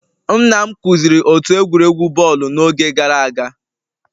Nna m kụziri otu egwuregwu bọọlụ n'oge gara aga